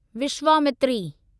Vishwamitri